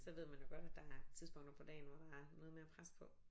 Så ved man jo godt at der er tidspunkter på dagen hvor der er noget mere pres på